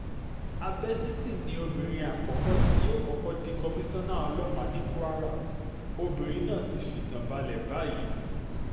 cc abẹ́sísì ni obìnrin àkọ́kọ́ tí yóò kọ́kọ́ di kọmíṣánná ọlọ́pàá ní kwara obìnrin náà ti fìtàn balẹ̀ báyìí